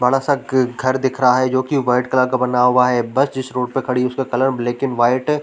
बड़ा सा घर दिख रहा है जो की वाइट कलर का बना हुआ है बस जिस रोड पर खड़ी उसका कलर ब्लैक एंड व्हाइट --